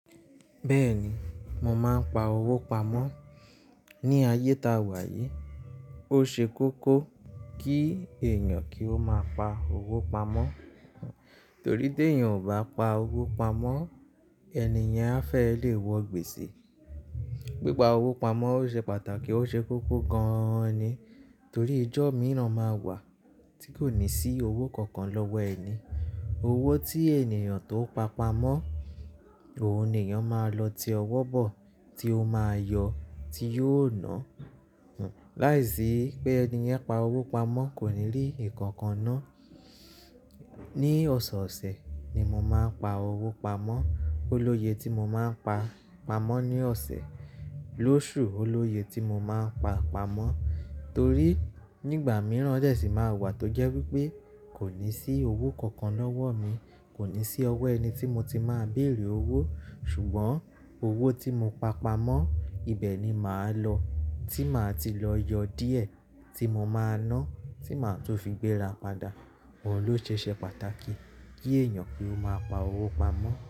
Bẹ́ẹ̀ni, mò máa ń pa owó pamọ́. Ni ayé tá a wà yìí, ó ṣe kókó kí èèyàn kí ó máa pa owó pamọ́. Torí tí èèyàn kò bá pa owó pamọ́, ẹni yẹn a fẹ́ lè wọ gbèsè. Pípá owó pamọ́ ó ṣe pàtàkì, ó ṣe kókó gan ni. Torí ijọ́ mìíràn máa wà tí kò ní sí owó kankan lọ́wọ́ ẹni. Owó tí èèyàn tó pa pamọ́, òun ni ọ́n máa lọ ti ọwọ́ bọ̀ tí ó máa yọ tí yóò ná. Láìsí pé ẹni yẹn pa owó pamọ́ kò ní rí ìkankan ná. Ni ọ̀sẹ̀ ọ̀sẹ̀ ni mò máa ń pa owó pamọ́. Oloye tí mò máa ń pa pamọ́ ni ọ̀sẹ̀, lóṣù Oloye tí mò máa ń pa pamọ́. Torí nígbà mìíràn ọjọ́ sì máa wà tó jẹ́ wípé kò ní sí owó kankan lọ́wọ́ mi. Kò ní sí ọwọ́ ẹni tí mo ti máa béèrè owó. Ṣùgbọ́n owó tí mo pa pamọ́ ibẹ̀ ni màá lọ, tí màá ti lọ yọ díẹ̀ tí mo máa ná tí màá tó fi gbéra padà. Òun ló ṣe ṣẹ́ pàtàkì kí èèyàn kí ó máa pa owó pamọ́